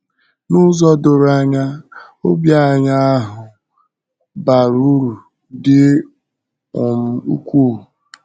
N’ụzọ doro anya, ọ̀bì anyị ahụ ahụ bara uru dị um ukwuu.